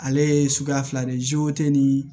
Ale ye suguya fila de ye ni